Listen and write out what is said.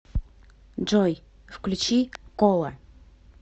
джой включить кола